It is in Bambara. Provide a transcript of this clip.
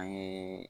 An ye